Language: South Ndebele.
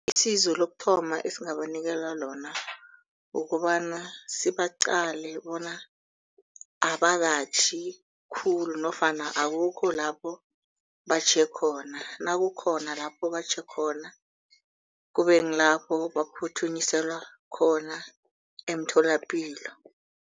Isizo lokuthoma esingabanikela ukobana sibaqale bona abakatjhi khulu nofana akukho lapho batjhe khona nakukhona lapho batjhe khona kube kulapho baphuthunyiselwa khona emtholapilo.